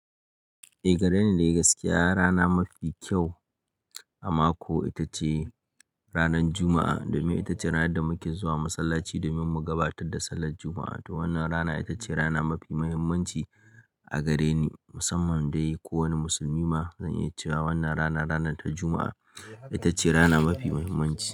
Eh, gareni dai gaskiya rana mafi kyau a mako ita ce ranan Juma'a. Domin ita ce rana da muke zuwa masallaci domin mu gabatar da Sallar Juma'a. To wannan rana ita ce rana mafi muhimmanci a gareni. Musamman dai kowane musulmi ma zan iya ce cewa wannan rana, ranar ta Juma'a ita ce rana mafi muhimmanci.